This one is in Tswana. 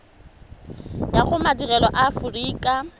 ya go madirelo a aforika